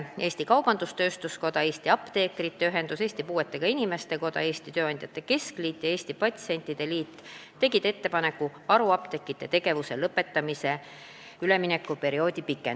Eesti Kaubandus-Tööstuskoda, Eesti Apteekide Ühendus, Eesti Puuetega Inimeste Koda, Eesti Tööandjate Keskliit ja Eesti Patsientide Liit tegid ettepaneku pikendada haruapteekide tegevuse lõpetamise üleminekuperioodi.